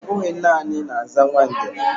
Ọbụghị naanị na-aza Nwangele